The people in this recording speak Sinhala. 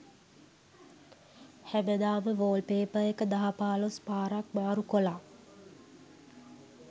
හැමදාම වොල්පේපර් එක දහ පහලොස් පාරක් මාරු කොලා